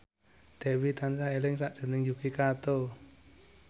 Dewi tansah eling sakjroning Yuki Kato